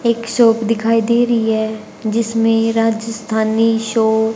एक शॉप दिखाई दे रही है जिसमें राजस्थानी शो--